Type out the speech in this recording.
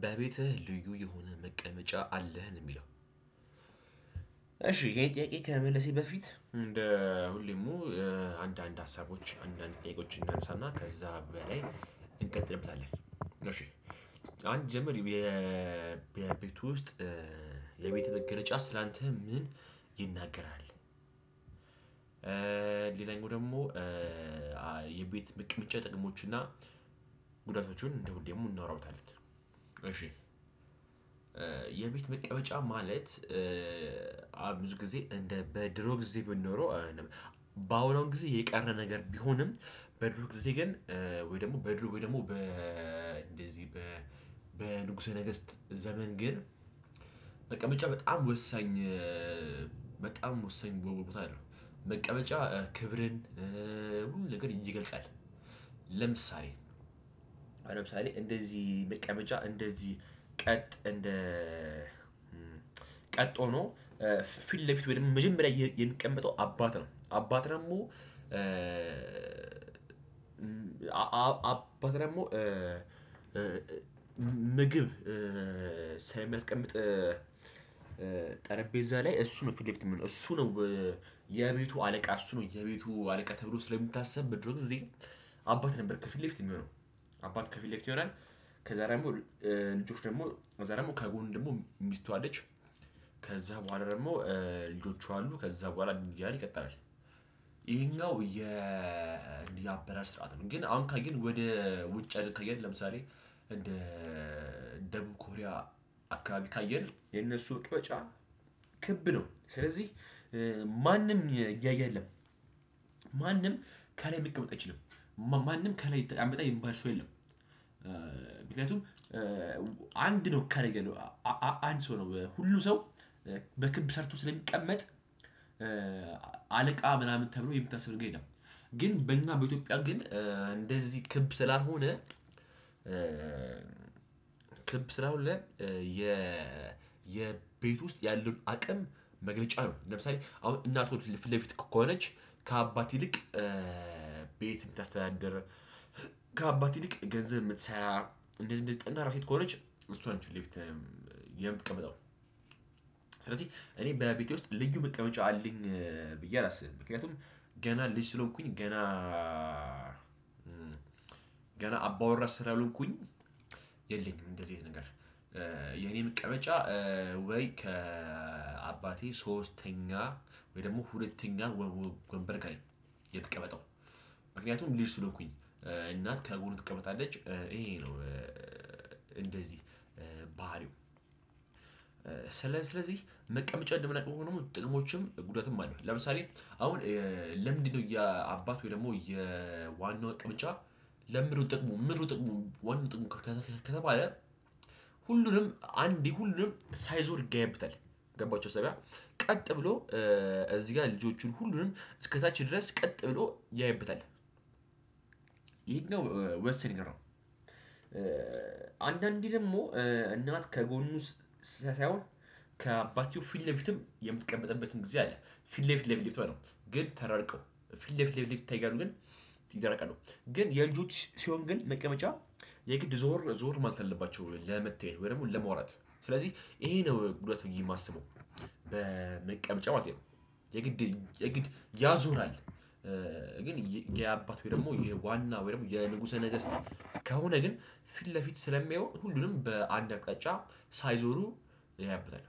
በቤትህ ልዩ የሆነ መቀመጫ አለህ? ነው የሚለው። እሺ ይሄን ጥያቄ ከመመለሴ በፊት እንደ ሁሌሙ አንዳንድ ሀሳቦች አንዳንድ ጥያቄዎችን እናንሳና ከዛ በላይ እንቀጥልበታለን። አንጀምር የቤት ውስጥ የቤት መገለጫ ስላንተ ምን ይናገራል? ሌላኛው ደግሞ የቤት መቀመጫ ጥቅሞች እና ጉዳቶቹን እንዲሁ ደግሞ እናወራበታለን። እሺ የቤት መቀመጫ ማለት ብዙ ጊዜ እንደ በድሮ ጊዜ ብንኖረው በአሁኑ ጊዜ የቀረ ነገር ቢሆንም በድሮ ጊዜ ግን ወይ ደግሞ በድሮ ወይ ደግሞ በ እንደዚህ በ በንጉሰ ነገስት ዘመን ግን መቀመጫ በጣም ወሳኝ በጣም ወሳኝ ቦቦታ አለው። መቀመጫ ክብርን ነገርን ይገልጻል። ለምሳሌ ሀሁን ለምሳሌ እንደዚህ መቀመጫ እንደዚህ ቀጥ እንደ ቀጥ ሆኖ ፊት ለፊት ወይም መጀመሪያ የሚቀመጠው አባት ነው። አባት ደግሞ አባት ደግሞ ምግብ ሳይመስቀምጥ ጠረጴዛ ላይ እሱ ነው ፊት ለፊት የሚሆነው። እሱ ነው የቤቱ አለቃ እሱ ነው የቤቱ አለቃ ተብሎ ስለሚታሰብ በድሮ ጊዜ አባት ነበር ከፊት ለፊት የሚሆነው አባት ከፊት ለፊት ይሆናል። ከዛ ደግሞ ልጆች ደግሞ ከዛ ደግሞ ከጎን ደግሞ ሚስቱ አለች። ከዛ በኋላ ደግሞ ልጆቹ አሉ። ከዛ በኋላ እያለ ይቀጥላል። ይሄኛው የአበራር ስራት ነው። ግን አሁን ካየን ወደ ውጭ ሀገር ካየን ለምሳሌ እንደ ደቡብኮሪያ አካባቢ ካየን የነሱ ውጦጫ ክብ ነው። ስለዚህ ማንም ያየ የለም ማንም ከላይ መቀመጥ አይችልም። ማንም ከላይ የተቀመጠ የሚባል ሰው የለም። ምክንያቱም አንድ ነው ከላይያለው አንድ ሰው ነው። ሁሉም ሰው በክብ ሰርቶ ስለሚቀመጥ አለቃ ምናምን ተብሎ የሚታሰብ ነገር የለም። ግን በእኛ በኢትዮጵያ ግን እንደዚህ ክብ ስላልሆነ ክብ ስላልሆነ የ የቤት ውስጥ ያለውን አቅም መግለጫ ነው። ለምሳሌ አሁን እናት ፊት ለፊት ከሆነች ከአባት ይልቅ ቤት የምታስተዳድር ከአባት ይልቅ ገንዘብ የምትሰራ እንደዚህ እንደዚህ ጠንካራ ሴት ከሆነች እሷ ነች ፌት ለፌት የምትቀመጠው። ስለዚህ እኔ በቤቴ ውስጥ ልዩ መቀመጫ አለኝ ብዬ አላስብም። ምክንያቱም ገና ልጅ ስለሆንኩኝ ገና ገና አባወራ ስላሆንኩኝ የለኝም እንደዚህ አይነት ነገር። የኔ መቀመጫ ወይ ከአባቴ ሶስተኛ ወይ ደግሞ ሁለተኛ ወንበር ከላይ የምቀመጠው። ምክንያቱም ልጅ ስለሆንኩኝ እናት ከጎኑ ትቀመጣለች። ይሄ ነው እንደዚህ ባህሪው ስለ ስለዚህ መቀመጫ እንደምናውቀው ሆኖ ጥቅሞችም ጉዳትም አለው። ለምሳሌ አሁን ለምንድነው የአባት ወይ ደግሞ የዋናው መቀመጫ ለምንድነው ጥቅሙ ምንድነው ጥቅሙ ዋናው ጥቅሙ ከተባለ ሁሉንም አንድ ሁሉንም ሳይዞር ይገያብታል። ገባቹሁ እዛጋ ቀጥ ብሎ እዚህ ጋር ልጆቹን ሁሉንም እስከታች ድረስ ቀጥ ብሎ ያይበታል። ይሄኛው ወሳኝ ነገር ነው። አንዳንዴ ደግሞ እናት ከጎኑ ሳይሆን ከአባትዬው ፊት ለፊትም የምትቀመጥበት ጊዜ አለ። ፊት ለፊት ለፊት በለው ግን ተራርቀው። ፊት ለፊት ለፊት ይታያሉ። ግን ይራራቃሉ። ግን የልጆች ሲሆን ግን መቀመጫ የግድ ዞር ዞር ማለት አለባቸው ለመተያየት ወይ ደግሞ ለማውራት። ስለዚህ ይሄ ነው ጉዳት ብዬ የማስበው በመቀመጫ ማለቴ ነው። የግድ የግድ ያዞራል። ግን የአባት ወይ ደግሞ የዋና ወይ ደግሞ የንጉሰ ነገስት ከሆነ ግን ፊት ለፊት ስለሚሆን ሁሉንም በአንድ አቅጣጫ ሳይዞሩ ያይበታል።